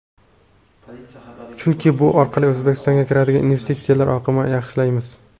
Chunki bu orqali O‘zbekistonga kiradigan investitsiyalar oqimini yaxshilaymiz.